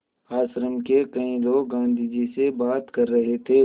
आश्रम के कई लोग गाँधी जी से बात कर रहे थे